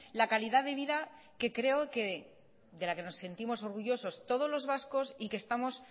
la calidad de vida de la que creo que nos sentimos orgullosos todos los vascos y que estamos